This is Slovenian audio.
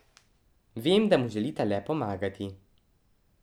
Vem, da mu želita le pomagati.